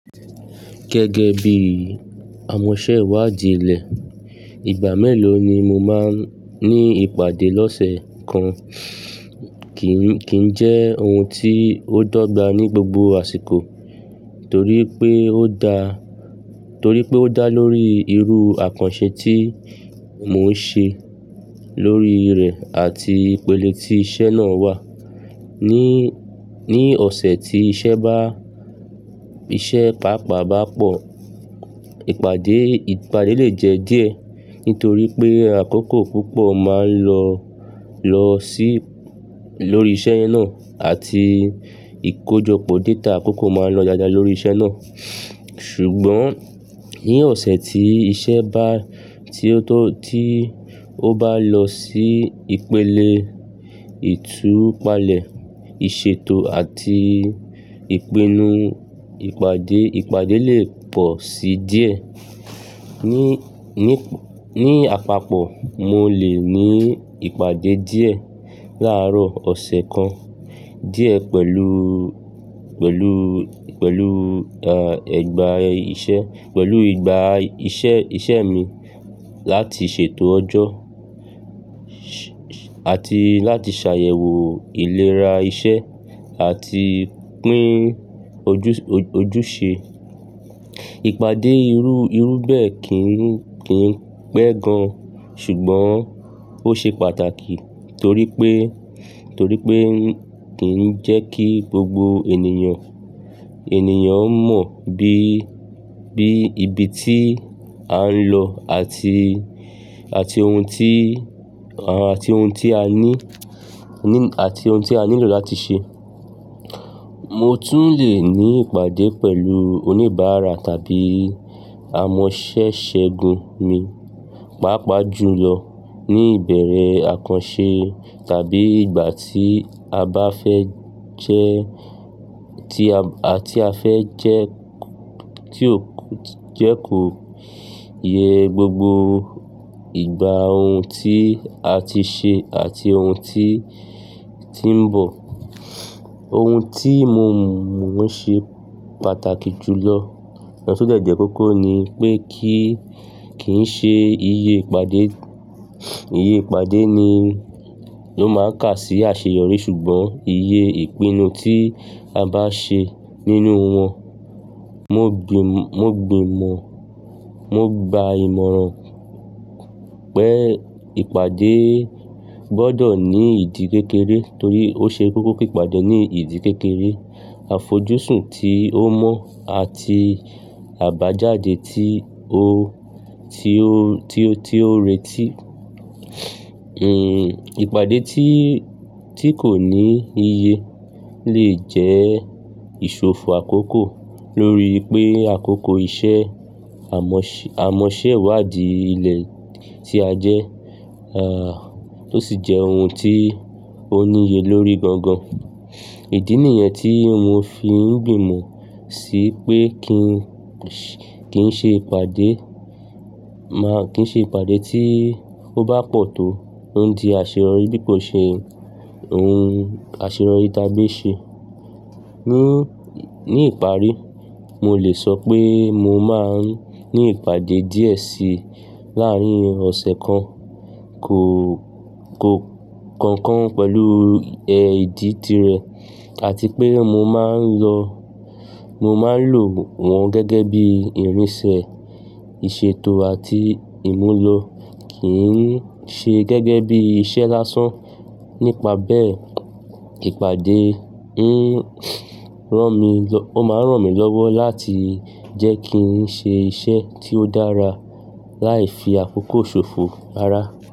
Gẹ́gẹ́ bí i amọ̀sẹ́wàdìí ilẹ̀, ìgbà mẹ́lòó ni mo máa ń ní ìpàdé lọ́sẹ̀ kan kì í jẹ́ ohun tí ó dọ́gba ní gbogbo àsìkò torí pé. Torí pé ó dá lórí irú àkànṣe tí mo ń ṣe lórí rẹ̀ àti ìpele tí iṣẹ́ náà wà ni. Ni ọ̀sẹ̀ tí iṣẹ́ bá iṣẹ́ pàápàá bá pọ̀, ìpàdé lè jẹ díẹ̀ nítorí pé àkókò púpọ̀ máa lọ lọ sí lórí iṣẹ́ náà àti ìkójọpọ̀ data àkókò máa lọ dáadáa lórí iṣẹ́ náà. Ṣùgbọ́n ní ọ̀sẹ̀ tí iṣẹ́ bá, tí ó bá lọ sí ìpele ìtúpalẹ̀, ìṣètò àti ìpinnu, ìpàdé lè pọ̀ sí díẹ̀. Ni àpapọ̀, mo lè ní ìpàdé díẹ̀ láàárọ̀ ọ̀sẹ̀ kan díẹ̀ pẹ̀lú. Pẹ̀lú ìgbà iṣẹ́ mi láti ṣètò ọjọ́ àti láti ṣàyẹ̀wò ìlera iṣẹ́ àti pín ojúṣe. Ìpàdé irú bẹ́ẹ̀ kì í pẹ́ gan, ṣùgbọ́n ó ṣe pàtàkì torí pé kì í jẹ́ kí gbogbo ènìyàn. Ènìyàn mọ bí ibi tí à ń lọ àti ohun tí à nílò láti ṣe. Mo tún lè ní ìpàdé pẹ̀lú oníbàárà tàbí amọ̀sẹ́ṣẹ́gun mi, pàápàá jùlọ ní ìbẹ̀rẹ̀ àkànṣe tàbí ìgbà tí a bá fẹ́ jẹ́ kó yẹ gbogbo ìgbà ohun tí a ti ṣe àti ohun tí ń bọ̀. Ohun tí mo mọ̀ ń ṣe pàtàkì jùlọ lọ kos o dẹ̀ jẹ́ kókó ni pé kíì ṣe iye ìpàdé ni ló máa ń kà sí àṣeyọrí ṣùgbọ́n iye ìpinnu tí a bá ṣe nínú wọn. Wọ́n gbìmọ̀, wọ́n gba ìmọ̀ràn pé ìpàdé gbọdọ̀ ní ìdí kékeré torí ose kókó kí ìpàdé ní ìdí kékeré àfojúsùn tí ó mọ́ àti a bá jáde tí ó. Tí ó retí. Ìpàdé tí kò ní iye lè jẹ́ ìṣòfò àkókò lórí pé àkókò iṣẹ́ amọ̀sẹ́wàdíí ilẹ̀ tí a jẹ́, tó sì jẹ́ ohun tí ó níye lórí gangan. Ìdí nìyẹn tí mo fi ń gbìmọ̀ sí pé kí n ṣe ìpàdé tí ó bá pọ̀ tó ó ń di àṣeyọrí bí kò ṣe ohun àṣeyọrí tàgbe ṣe. Ní ìparí, mo lè sọ pé mo máa ń ní ìpàdé díẹ̀ sí láàárín ọ̀sẹ̀ kan kọ̀ọ̀kan pẹ̀lú ìdí tirẹ̀ àti pé mo máa ń lò wọ́n gẹ́gẹ́ bí ìrínsẹ́ ìṣètò àti ìmúlo kì í ṣe gẹ́gẹ́ bí iṣẹ́ lásán. Nípa bẹ́ẹ̀, ìpàdé ó máa ń ràn mí lọ́wọ́ láti jẹ́ kí n ṣe iṣẹ́ tí ó dára láì fi àkókò ṣòfò ara.